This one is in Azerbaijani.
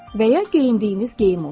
Və ya geyindiyiniz geyim olsun.